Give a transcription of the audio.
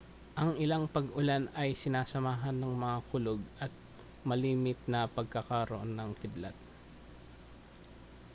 ang ilang pag-ulan ay sinamahan ng mga kulog at malimit na pagkakaroon ng kidlat